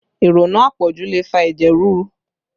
Ìrònú àpọ̀jù ló fa ẹ̀jẹ̀ ríru